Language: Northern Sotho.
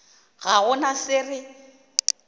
ga go na se re